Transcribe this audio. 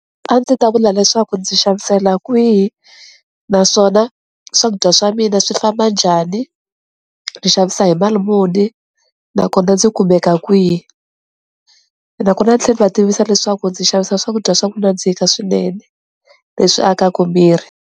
A ndzi ta vula leswaku ndzi xavisela kwihi naswona swakudya swa mina swi famba njhani ni xavisa hi mali muni nakona ndzi kumeka kwihi, nakona ndzi tlhe ndzi va tivisa leswaku ndzi xavisa swakudya swa ku nandzika swinene leswi akaku miri.